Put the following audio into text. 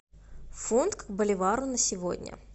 фунт к боливару на сегодня